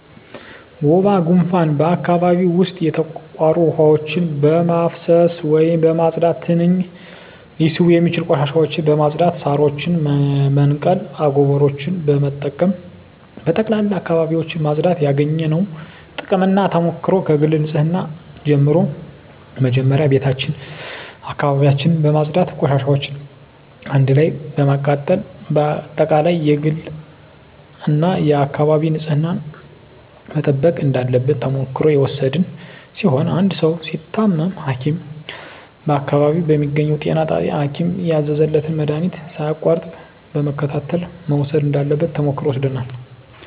ወባ ጉንፋን በአካባቢው ዉስጥ የተቋሩ ዉሀዎችን በማፋሰስ ወይም በማፅዳት ትንኝ ሊስቡ የሚችሉ ቆሻሻዎችን በማፅዳት ሳሮችን በመንቀል አጎበሮችን በመጠቀም በጠቅላላ አካባቢዎችን ማፅዳት ያገኘነዉ ጥቅምና ተሞክሮ ከግል ንፅህና ጀምሮ መጀመሪያ ቤታችን አካባቢያችን በማፅዳት ቆሻሻዎችን አንድ ላይ በማቃጠል በአጠቃላይ የግልና የአካባቢ ንፅህናን መጠበቅ እንዳለብን ተሞክሮ የወሰድን ሲሆን አንድ ሰዉ ሲታመም ሀኪም በአካባቢው በሚገኘዉ ጤና ጣቢያ ሀኪም ያዘዘለትን መድሀኒት ሳያቋርጥ በመከታተል መዉሰድ እንዳለበት ተሞክሮ ወስደናል